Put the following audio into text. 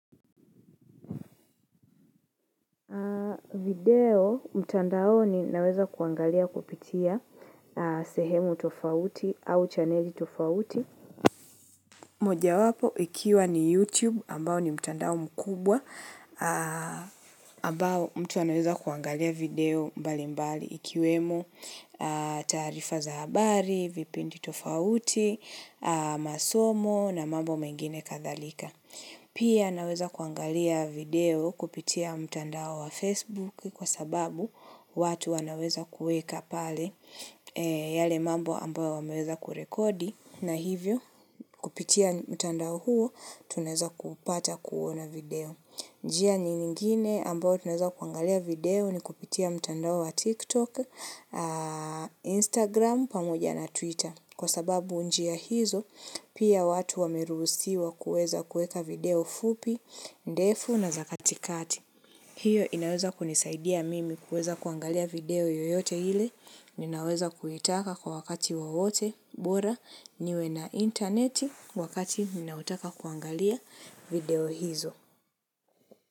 Video mtandaoni naweza kuangalia kupitia sehemu tofauti au chaneli tofauti moja wapo ikiwa ni YouTube ambao ni mtandao mkubwa ambao mtu anaweza kuangalia video mbali mbali ikiwemo taarifa za habari, vipindi tofauti, masomo na mambo mengine kadhalika Pia naweza kuangalia video kupitia mtandao wa Facebook kwa sababu watu wanaweza kuweka pale yale mambo ambayo wameweza kurekodi na hivyo kupitia mtandao huo tunaweza kupata kuona video. Njia nyingine ambao tunaweza kuangalia video ni kupitia mtandao wa TikTok, Instagram, pamoja na Twitter. Kwa sababu njia hizo, pia watu wameruhusiwa kuweza kueka video fupi, ndefu na za katikati. Hiyo inaweza kunisaidia mimi kuweza kuangalia video yoyote ile. Ninaweza kuitaka kwa wakati wowote, bora, niwe na interneti wakati ninaotaka kuangalia video hizo.